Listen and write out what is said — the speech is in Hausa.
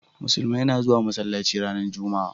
Musulmai na zuwa masallaci ranar jumma'a